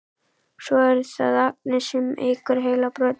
Svo er það Agnes sem eykur heilabrotin.